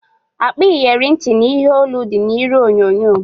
Akpa iyeri ntị na ihe olu dị na iru onyonyo